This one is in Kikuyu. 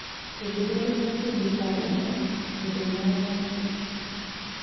tũgĩthondeka kĩndũ karenda mũthenya wa gatatũ.